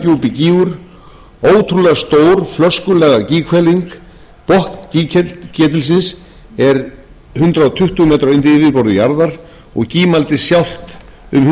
flöskulaga gíghvelfing botn gígketilsins er hundrað tuttugu m undir yfirborði jarðar og gímaldið sjálft um hundrað fimmtíu þúsund rúmmetrar botninn sjálfur er sjötíu og fimm til fjörutíu og